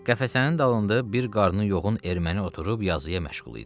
Qəfəsinin dalında bir qarnı yoğun erməni oturub yazıya məşğul idi.